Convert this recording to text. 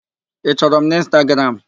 Ị chọrọ m n'Ịnstagram?